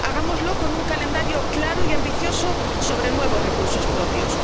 Hagámoslo con un calendario claro y ambicioso sobre nuevos recursos propios.